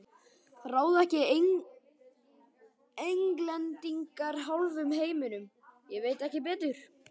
Ráða ekki Englendingar hálfum heiminum, ég veit ekki betur.